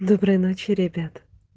доброй ночи ребята